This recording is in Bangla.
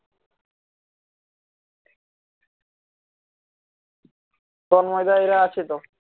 তন্ময়দা ওরা আছে তো